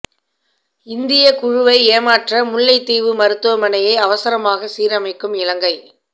இந்திய குழுவை ஏமாற்ற முல்லைத் தீவு மருத்துவமனையை அவசரமாக சீரமைக்கும் இலங்கை